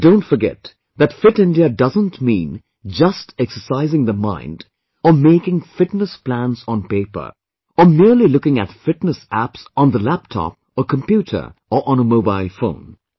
But don't forget that Fit India doesn't mean just exercising the mind or making fitness plans on paper or merely looking at fitness apps on the laptop or computer or on a mobile phone